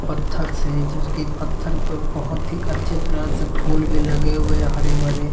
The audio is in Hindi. पत्थर से जैसे की पत्थर पे बहोत ही अच्छी तरह से फूल भी लगे हुए हे हरे-भरे।